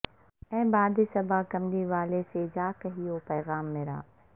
اے باد صبا کملی والے سے جاکہیو پیغام مرا